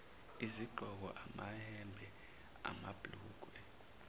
izigqoko amayembe amabhlukwe